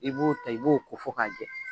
I b'o ta i b'o ko fo k'a jɛ